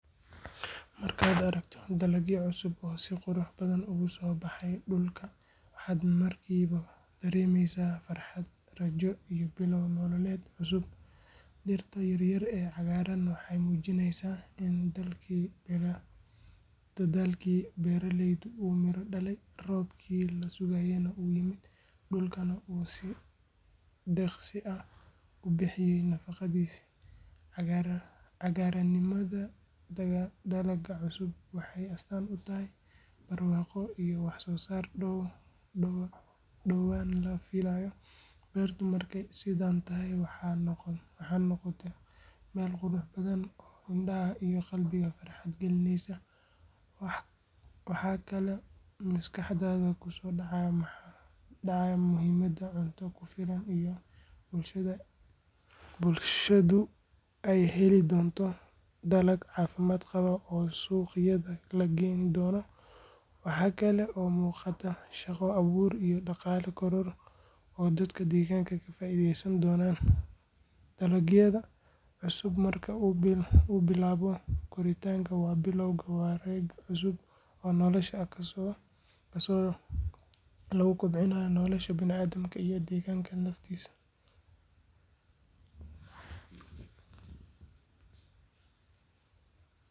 Markaad aragto dalag cusub oo si qurux badan uga soo baxay dhulka, waxaad markiiba dareemaysaa farxad, rajo iyo bilow nololeed oo cusub. Dhirta yaryar ee cagaaran waxay muujinayaan in dadaalkii beeraleyda uu miro dhalay, roobkii la sugayayna uu yimid, dhulkuna uu si deeqsi ah u bixiyay nafaqadiisii. Cagaaranimada dalagga cusub waxay astaan u tahay barwaaqo iyo waxsoosaar dhowaan la filayo. Beertu markay sidan tahay waxay noqotaa meel qurux badan oo indhaha iyo qalbiga farxad gelinaysa. Waxa kaloo maskaxdaada ku soo dhacaya muhiimada cunto ku filan iyo in bulshadu ay heli doonto dalag caafimaad qaba oo suuqyada la keeni doono. Waxa kale oo muuqata shaqo abuur iyo dhaqaale koror oo dadka deegaanka ka faa’iideysan doonaan. Dalagga cusub marka uu bilaabo koritaanka waa bilowga wareeg cusub oo nolosha ah kaasoo lagu kobcinayo nolosha.